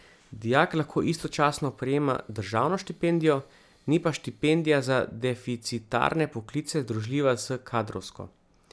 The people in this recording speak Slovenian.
Dijak lahko istočasno prejema državno štipendijo, ni pa štipendija za deficitarne poklice združljiva s kadrovsko.